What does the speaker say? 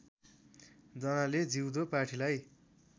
जनाले जिउँदो पाठीलाई